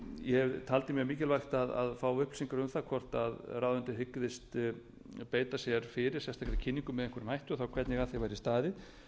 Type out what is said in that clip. ég taldi mjög mikilvægt að fá upplýsingar um það hvort ráðuneytið hyggist beita sér fyrir sérstakri kynningu með einhverjum hætti og þá hvernig að því verði staðið